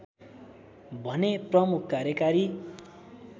भने प्रमुख कार्यकारी